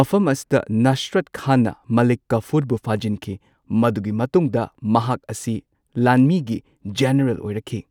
ꯃꯐꯝ ꯑꯁꯤꯗ ꯅꯁꯔꯠ ꯈꯥꯟꯅ ꯃꯂꯤꯛ ꯀꯐꯨꯔꯕꯨ ꯐꯥꯖꯤꯟꯈꯤ, ꯃꯗꯨꯒꯤ ꯃꯇꯨꯡꯗ ꯃꯍꯥꯛ ꯑꯁꯤ ꯂꯥꯟꯃꯤꯒꯤ ꯖꯦꯅꯔꯦꯜ ꯑꯣꯏꯔꯛꯈꯤ꯫